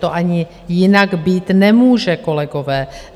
To ani jinak být nemůže, kolegové.